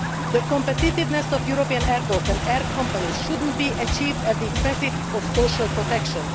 The competitiveness of European airports and air companies should not be achieved at the expense of social protection.